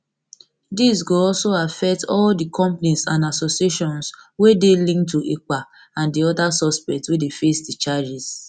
dis dis go also affect all di companies and associations wey dey linked to ekpa and di oda suspects wey dey face di charges